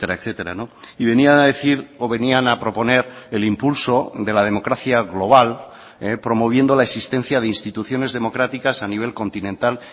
etcétera y venía a decir o venían a proponer el impulso de la democracia global promoviendo la existencia de instituciones democráticas a nivel continental